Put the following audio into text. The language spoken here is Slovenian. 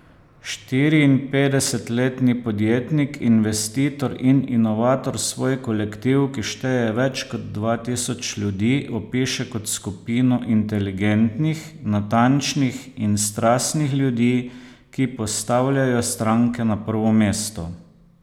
Štiriinpetdesetletni podjetnik, investitor in inovator svoj kolektiv, ki šteje več kot dva tisoč ljudi, opiše kot skupino inteligentnih, natančnih in strastnih ljudi, ki postavljajo stranke na prvo mesto.